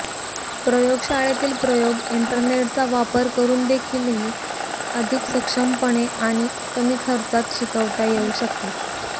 प्रयोगशाळेतील प्रयोग इंटरनेटचा वापर करूनदेखील अधिक सक्षमपणे आणि कमी खर्चात शिकवता येऊ शकतात